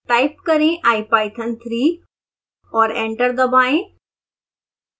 type करें ipython3 और enter दबाएं